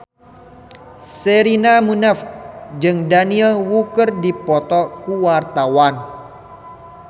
Sherina Munaf jeung Daniel Wu keur dipoto ku wartawan